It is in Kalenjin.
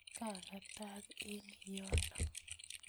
Kakatak eng yono